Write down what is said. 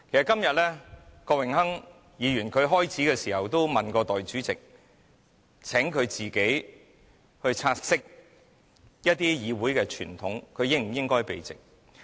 今天郭榮鏗議員曾詢問代理主席，請她自己察悉一些議會傳統，她是否應該避席。